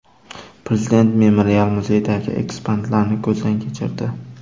Prezident memorial muzeydagi eksponatlarni ko‘zdan kechirdi.